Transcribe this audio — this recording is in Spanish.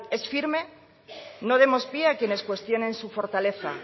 es firme no demos pie a quienes cuestionen su fortaleza